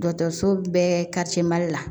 Dɔkɔtɔrɔso bɛɛ ka cɛ mali la